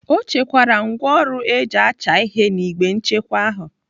Ọ chekwaara ngwaọrụ eji acha ihe n'igbe nchekwa ahụ.